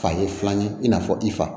Fa ye filan ye i n'a fɔ i fa